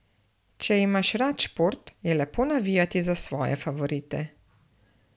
Če imaš rad šport, je lepo navijati za svoje favorite.